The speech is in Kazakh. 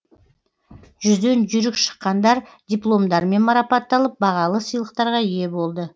жүзден жүйрік шыққандар дипломдармен марапатталып бағалы сыйлықтарға ие болды